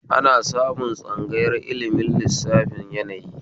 Ana samun tsangayar ilimin lissafin yanayi